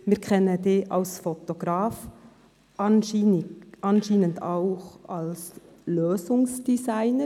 Wir kennen Sie als Fotograf, anscheinend auch als «Lösungsdesigner».